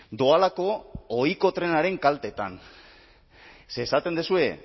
doalako ohiko trenaren kaltetan ze esaten duzue